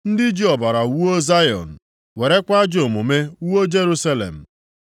Ndị ji ọbara wuo Zayọn, werekwa ajọ omume wuo Jerusalem.